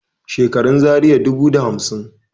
Shekarun Zaria dubu da hamsin